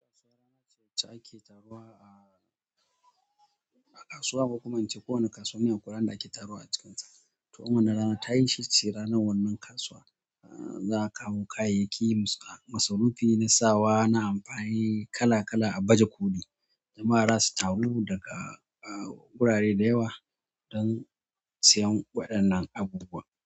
Kasuwa wacce ake taruwa a, a kasuwa, ko kuma in ce kowane kasuwa ne akwai ran da ake taruwa a cikinsa. Toh in wannan ranar tayi shi za'a ce shine ranar wannan kasuwan za'a kawo kayyayaki masu masarufi na sawa na amfani kala kala a baje koli jama'a zasu taru daga gurare da yawa don siyan waɗannan abubuwa.